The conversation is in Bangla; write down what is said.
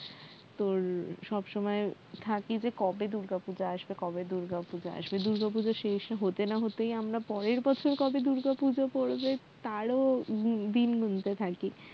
তোর সবসময় থাকি যে কবে দুর্গাপূজা আসবে দুর্গা পূজা শেষ হতে না হতেই আমরা পরের বছর কবে দুর্গাপূজা পরবে তারও দি~দিন গুনতে থাকি